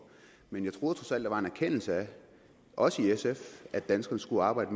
men jeg troede trods alt der var en erkendelse af også i sf at danskerne skulle arbejde